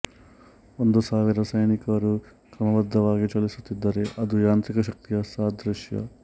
ಒಂದು ಸಾವಿರ ಸೈನಿಕರು ಕ್ರಮಬದ್ದವಾಗಿ ಚಲಿಸುತ್ತಿದ್ದರೆ ಅದು ಯಾಂತ್ರಿಕ ಶಕ್ತಿಯ ಸಾದೃಶ್ಯ